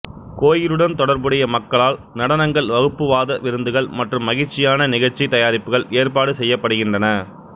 கோயிலுடன் தொடர்புடைய மக்களால் நடனங்கள் வகுப்புவாத விருந்துகள் மற்றும் மகிழ்ச்சியான நிகழ்ச்சி தயாரிப்புகள் ஏற்பாடு செய்யப்படுகின்றன